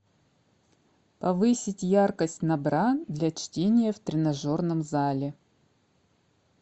повысить яркость на бра для чтения в тренажерном зале